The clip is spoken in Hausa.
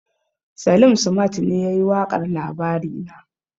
Salim simat ne yake yin waƙar labarina